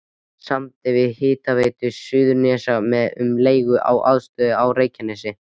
Samdi við Hitaveitu Suðurnesja um leigu á aðstöðunni á Reykjanesi.